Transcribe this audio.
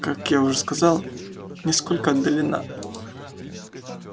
как я уже сказал несколько отдалена